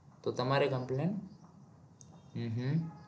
તો તમારી complain hmm હમ